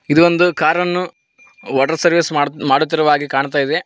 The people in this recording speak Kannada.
ಇದೊಂದು ಕಾರ್ ಅನ್ನು ವಾಟರ್ ಸರ್ವಿಸ್ ಮಾಡ್ತ್ ಮಾಡುತ್ತಿರುವ ಹಾಗೆ ಕಾಣ್ತಾಯಿದೆ.